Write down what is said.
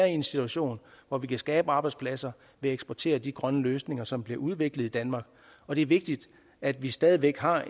en situation hvor vi kan skabe arbejdspladser ved at eksportere de grønne løsninger som bliver udviklet i danmark og det er vigtigt at vi stadig væk har